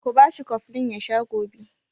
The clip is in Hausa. Ku ba shi koflin ya sha gobe!